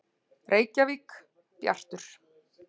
Reykjavík: Bjartur.